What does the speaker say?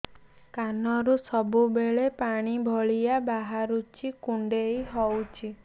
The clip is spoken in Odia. କାନରୁ ସବୁବେଳେ ପାଣି ଭଳିଆ ବାହାରୁଚି କୁଣ୍ଡେଇ ହଉଚି